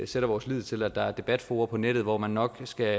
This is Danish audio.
sætter vores lid til at der er debatfora på nettet hvor man nok skal